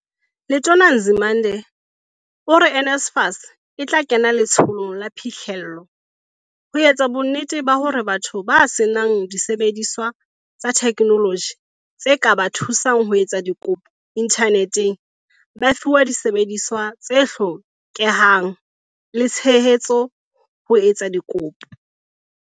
Letona Nzimande ore NSFAS e tla kena letsholong la phihlello, ho etsa bonnete ba hore batho ba senang disebediswa tsa theknoloji tse ka ba thusang ho etsa dikopo inthaneteng ba fiwa disebediswa tse hlokehang le tshehetso ho etsa dikopo.